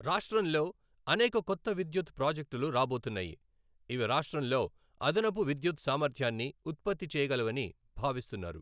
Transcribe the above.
రాష్ట్రంలో అనేక కొత్త విద్యుత్ ప్రాజెక్టులు రాబోతున్నాయి, ఇవి రాష్ట్రంలో అదనపు విద్యుత్ సామర్థ్యాన్ని ఉత్పత్తి చేయగలవని భావిస్తున్నారు.